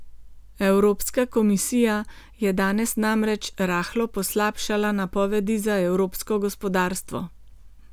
Evropska komisija je danes namreč rahlo poslabšala napovedi za evropsko gospodarstvo.